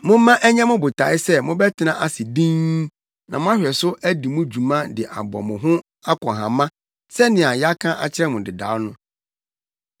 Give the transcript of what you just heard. Momma ɛnyɛ mo botae sɛ mobɛtena ase dinn na moahwɛ so adi mo dwuma de abɔ mo ho akɔnhama sɛnea yɛaka akyerɛ mo dedaw no.